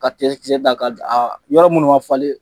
Ka tigɛ kisɛ da ka d aa yɔrɔ munnu ma falen